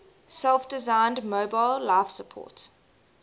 self designed mobile life support